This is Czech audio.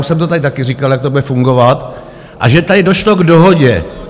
Už jsem to tady také říkal, jak to bude fungovat, a že tady došlo k dohodě.